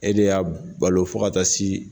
E de y'a balo fo ka ta si.